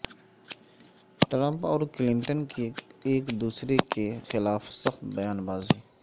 Trump اور Clinton کی ایک دوسرے کے خلاف سخت بیان بازی